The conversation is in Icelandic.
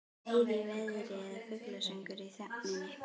Nauð í veðri eða fuglasöngur í þögninni.